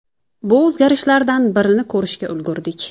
Bu o‘zgarishlardan birini ko‘rishga ulgurdik.